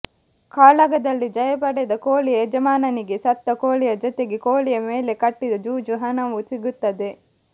ಕಾಳಗದಲ್ಲಿ ಜಯಪಡೆದ ಕೋಳಿಯ ಯಜಮಾನನಿಗೆ ಸತ್ತ ಕೋಳಿಯ ಜೊತೆಗೆ ಕೋಳಿಯ ಮೇಲೆ ಕಟ್ಟಿದ ಜೂಜು ಹಣವು ಸಿಗುತ್ತದೆ